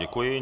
Děkuji.